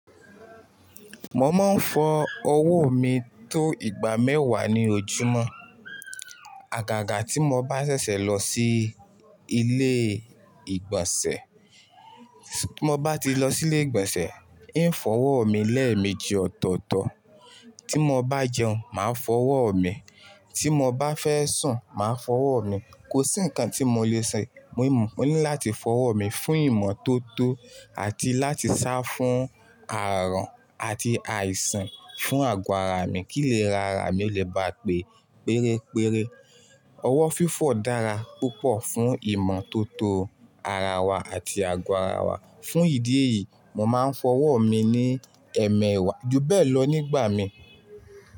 Mo máa ń fọ owó mi tó igba mẹ́wàá ní ojúmọ́. Àgàgà tí mo bá ṣẹ̀ṣẹ̀ lọ sí ilé ìgbọ̀nsẹ̀, tí mo bá ti lọ sí ilé ìgbọ̀nsẹ̀, ń fọwọ́ mi lẹ́ẹ̀meji ọ̀tọ̀ọ̀tọ̀. Tí mo bá jẹun, màá fọwọ́ mi. Tí mo bá fẹ́ sùn, màá fọwọ́ mi. Kò sí nǹkan tí mo lè ṣe, mo ní láti fọwọ́ mi fún ìmọ̀ tó tó àti láti sá fún ààrọ̀n àti àìsàn fún àgọ́ ara mi kí ilèrarà mi lè bá pé pérére. Ọwọ́ fífọ̀ dára púpọ̀ fún ìmọ̀ tó tó ara wa àti àgọ́ ara wa. Fún ìdí èyí, mo máa ń fọwọ́ mi ní ẹmẹẹ̀wá. Ju bẹ́ẹ̀ lọ nígbà mi.